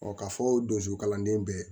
k'a fɔ donso kalanden bɛɛ